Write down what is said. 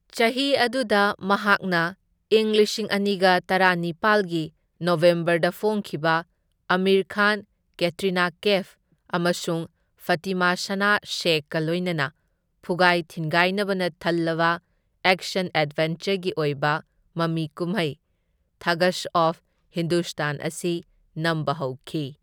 ꯆꯍꯤ ꯑꯗꯨꯗ, ꯃꯍꯥꯛꯅ ꯏꯪ ꯂꯤꯁꯤꯡ ꯑꯅꯤꯒ ꯇꯔꯥꯅꯤꯄꯥꯜꯒꯤ ꯅꯕꯦꯝꯕꯔꯗ ꯐꯣꯡꯈꯤꯕ ꯑꯃꯤꯔ ꯈꯥꯟ, ꯀꯦꯇ꯭ꯔꯤꯅꯥ ꯀꯦꯐ ꯑꯃꯁꯨꯡ ꯐꯇꯤꯃꯥ ꯁꯅꯥ ꯁꯦꯈꯀ ꯂꯣꯏꯅꯅ ꯐꯨꯒꯥꯏ ꯊꯤꯟꯒꯥꯏꯅꯕꯅ ꯊꯜꯂꯕ ꯑꯦꯛꯁꯟ ꯑꯦꯗꯚꯦꯟꯆꯔꯒꯤ ꯑꯣꯏꯕ ꯃꯃꯤ ꯀꯨꯝꯍꯩ ꯊꯒꯁ ꯑꯣꯐ ꯍꯤꯟꯗꯨꯁ꯭ꯇꯥꯟ ꯑꯁꯤ ꯅꯝꯕ ꯍꯧꯈꯤ꯫